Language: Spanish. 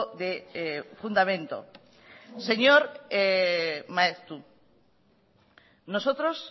de fundamento señor maeztu nosotros